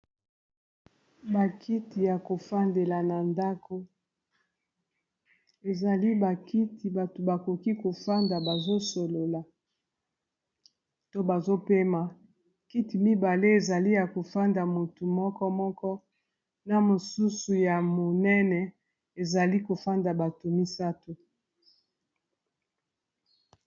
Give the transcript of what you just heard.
Bakiti ya kofandela na ndako ezali bakiti bato bakoki kofanda bazosolola to bazopema kiti mibale ezali ya kofanda motu moko moko na mosusu ya monene ezali kofanda bato misato.